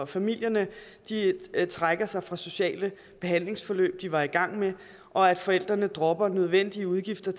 familierne trækker sig fra sociale behandlingsforløb de var i gang med og at forældrene dropper nødvendige udgifter